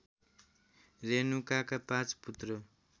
रेणुकाका पाँच पुत्र